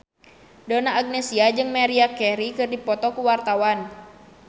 Donna Agnesia jeung Maria Carey keur dipoto ku wartawan